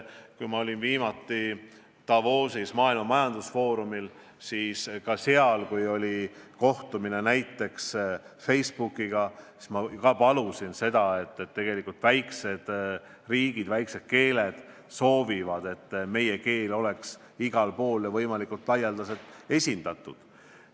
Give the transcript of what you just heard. Kui ma olin viimati Davosis maailma majandusfoorumil, siis seal oli kohtumine Facebooki esindajatega ja ma andsin seal teada, et väikesed riigid soovivad, et meie keel oleks igal pool ja võimalikult laialdaselt esindatud.